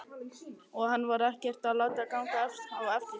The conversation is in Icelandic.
Og hann var ekkert að láta ganga á eftir sér.